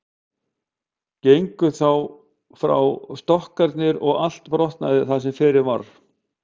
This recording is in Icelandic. Gengu þá frá stokkarnir og allt brotnaði það sem fyrir varð.